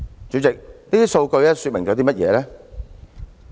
主席，這些數據說明了甚麼？